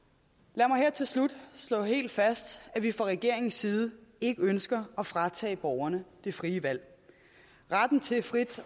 lad mig her til slut slå helt fast at vi fra regeringens side ikke ønsker at fratage borgerne det frie valg retten til frit